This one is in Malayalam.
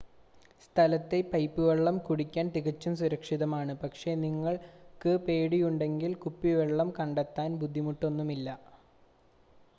സ്ഥലത്തെ പൈപ്പ് വെള്ളം കുടിക്കാൻ തികച്ചും സുരക്ഷിതമാണ് പക്ഷേ നിങ്ങൾക്ക് പേടിയുണ്ടെങ്കിൽ കുപ്പിവെള്ളം കണ്ടെത്താൻ ബുദ്ധിമുട്ടൊന്നും ഇല്ല